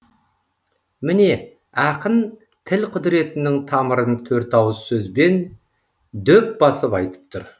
міне ақын тіл құдіретінің тамырын төрт ауыз сөзбен дөп басып айтып тұр